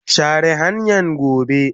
share hanyan gobe.